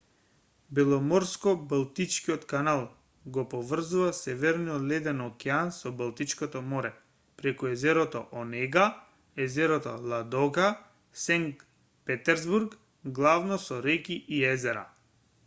беломорско-балтичкиот канал го поврзува северниот леден океан со балтичкото море преку езерото онега езерото ладога и сенкт петерсбург главно со реки и езера